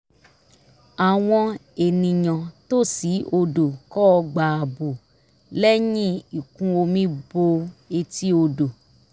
àwọn ènìyàn tòsí odò kọ́ ọgbà ààbò lẹ́yìn ìkún omi bo etí odò